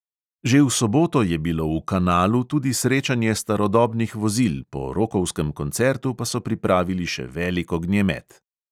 Že v soboto je bilo v kanalu tudi srečanje starodobnih vozil, po rokovsem koncertu pa so pripravili še velik ognjemet.